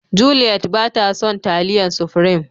Juliet ba ta son taliyan supirim.